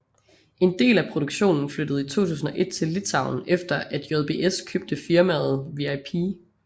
En del af produktionen flyttede i 2001 til Litauen efter at JBS købte firmaet VIP